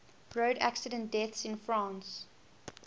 road accident deaths in france